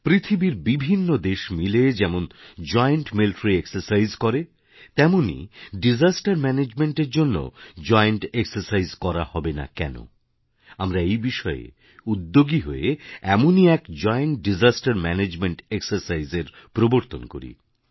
পৃথিবীর বিভিন্ন দেশ মিলে যেমন জয়েন্টমিলিটারি এক্সারসাইজ করে তেমনই ডিসাস্টারম্যানেজমেন্ট এর জন্যও জয়েনটেক্সারসাইজ করা হবে না কেন আমরা এই বিষয়ে উদ্যোগী হয়ে এমনই এক জৈন্তদিশাস্তের ম্যানেজমেন্ট এক্সারসাইজ এর প্রবর্তন করি